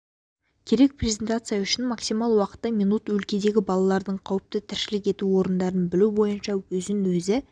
керек презентация үшін максимал уақыты минут өлкедегі балалардың қауіпті тіршілік ету орындарын білу бойынша өзін-өзі